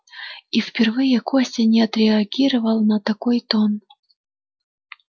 и впервые костя не отреагировал на такой тон